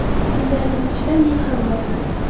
Ularning ichida men ham borman.